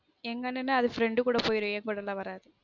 எங்க அண்ணனும் அது friend கூட போய்ரும் என் கூட லான் வராது